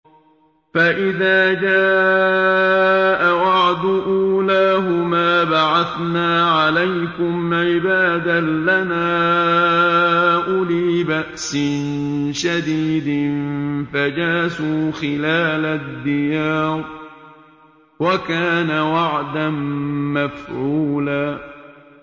فَإِذَا جَاءَ وَعْدُ أُولَاهُمَا بَعَثْنَا عَلَيْكُمْ عِبَادًا لَّنَا أُولِي بَأْسٍ شَدِيدٍ فَجَاسُوا خِلَالَ الدِّيَارِ ۚ وَكَانَ وَعْدًا مَّفْعُولًا